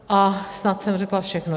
A snad jsem řekla všechno.